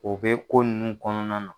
O bɛ ko ninnu kɔnɔna na.